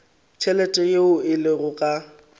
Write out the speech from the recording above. tšhelete yeo e lego ka